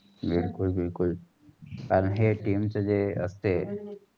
बिलकुल बिलकुल. कारण हे team जे अस्तेय.